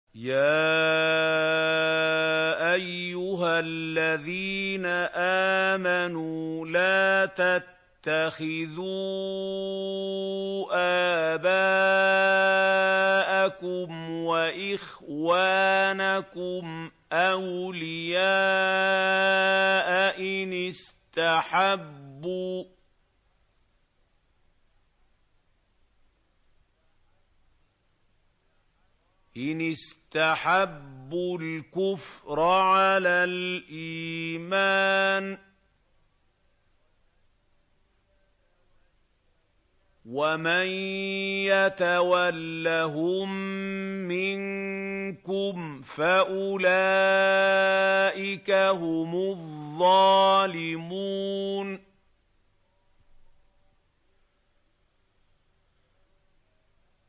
يَا أَيُّهَا الَّذِينَ آمَنُوا لَا تَتَّخِذُوا آبَاءَكُمْ وَإِخْوَانَكُمْ أَوْلِيَاءَ إِنِ اسْتَحَبُّوا الْكُفْرَ عَلَى الْإِيمَانِ ۚ وَمَن يَتَوَلَّهُم مِّنكُمْ فَأُولَٰئِكَ هُمُ الظَّالِمُونَ